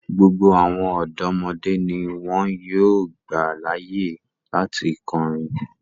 Gbogbo awọn ọdọmọde ni wọn yóò gba laaye lati kọrin